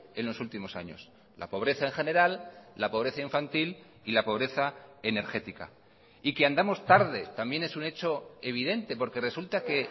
en los últimos años la pobreza en general la pobreza infantil y la pobreza energética y que andamos tarde también es un hecho evidente porque resulta que